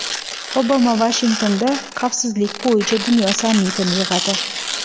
Obama Vashingtonda xavfsizlik bo‘yicha dunyo sammitini yig‘adi.